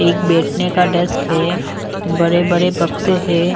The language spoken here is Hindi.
एक बैठने का डेस्क है बड़े-बड़े बक्से है।